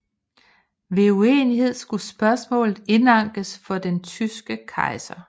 Ved uenighed skulle spørgsmålet indankes for den tyske kejser